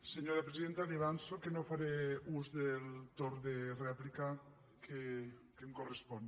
senyora presi denta li avanço que no faré ús del torn de rèplica que em correspon